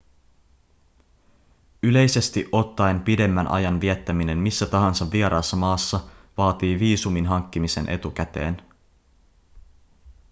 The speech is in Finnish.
yleisesti ottaen pidemmän ajan viettäminen missä tahansa vieraassa maassa vaatii viisumin hankkimisen etukäteen